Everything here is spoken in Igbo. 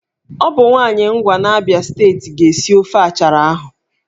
Ọ bụ nwaanyị Ngwa n'Abịa steeti ga-esi ofe achara ahụ.